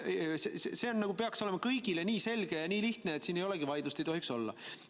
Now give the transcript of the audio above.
See peaks olema kõigile nii selge ja nii lihtne, et siin ei olegi vaidlust, seda ei tohiks olla.